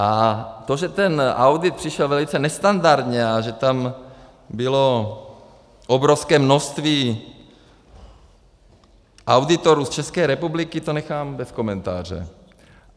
A to, že ten audit přišel velice nestandardně a že tam bylo obrovské množství auditorů z České republiky, to nechám bez komentáře.